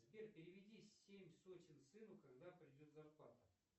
сбер переведи семь сотен сыну когда придет зарплата